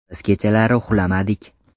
Biz kechalari uxlamadik.